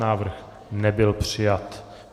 Návrh nebyl přijat.